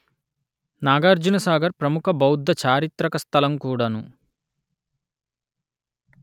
నాగార్జునసాగర్ ప్రముఖ బౌద్ధ చారిత్రక స్థలం కూడను